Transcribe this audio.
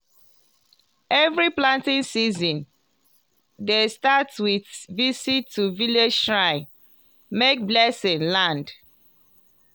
every planting season dey start with visit to village shrine make blessing land.